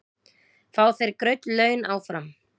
Fá þeir greidd laun áfram?